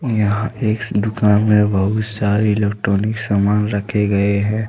यहां एक दुकान में बहुत सारे इलेक्ट्रॉनिक सामान रखे गए हैं।